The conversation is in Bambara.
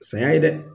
Saya ye dɛ